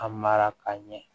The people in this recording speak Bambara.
A mara ka ɲɛ